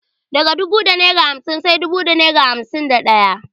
Daga dubu da naira hamsin sai dubu da naira hamsin da daya.